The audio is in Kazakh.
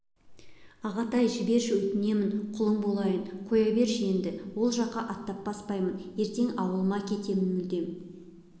ағатай-ай жіберші өтінемін құлың болайын қоя берші енді ол жаққа аттап баспаймын ертең ауылыма кетемін мүлдем